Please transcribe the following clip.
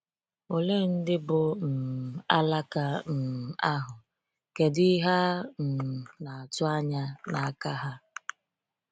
Olee ndị bụ́ “ um alaka um ” ahụ, kedụ ihe a um na-atụ anya n’aka ha?